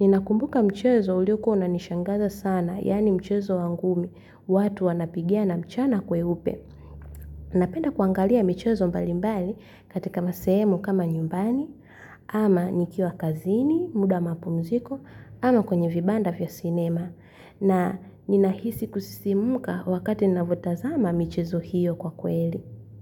Ninakumbuka mchezo ulikuwa unanishangaza sana, yaani mchezo wa ngumi, watu wanapigana na mchana kweupe. Napenda kuangalia michezo mbalimbali katika masehemu kama nyumbani, ama nikiwa kazini, muda wa mapunziko, ama kwenye vibanda vya sinema. Na ninahisi kusisimka wakati ninavyotazama michezo hiyo kwa kweli.